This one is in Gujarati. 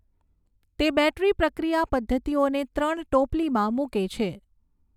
તે બૅટરી પ્રક્રિયા પદ્ધતિઓને ત્રણ ટોપલીમાં મૂકે છે